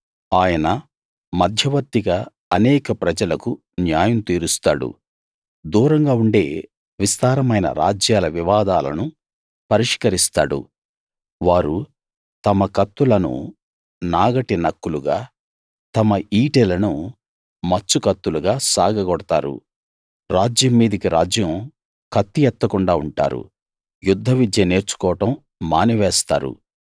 ఆయన మధ్యవర్తిగా అనేక ప్రజలకు న్యాయం తీరుస్తాడు దూరంగా ఉండే విస్తారమైన రాజ్యాల వివాదాలను పరిష్కరిస్తాడు వారు తమ కత్తులను నాగటి నక్కులుగా తమ ఈటెలను మచ్చు కత్తులుగా సాగగొడతారు రాజ్యం మీదికి రాజ్యం కత్తి ఎత్తకుండా ఉంటారు యుద్ధ విద్య నేర్చుకోవడం మానివేస్తారు